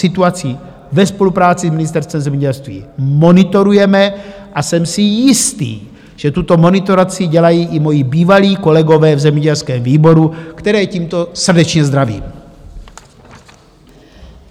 Situaci ve spolupráci s Ministerstvem zemědělství monitorujeme a jsem si jistý, že tuto monitoraci dělají i moji bývalí kolegové v zemědělském výboru, které tímto srdečně zdravím.